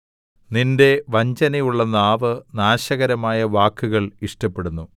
നിന്റെ വഞ്ചനയുള്ള നാവ് നാശകരമായ വാക്കുകൾ ഇഷ്ടപ്പെടുന്നു